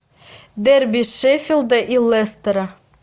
дерби шеффилда и лестера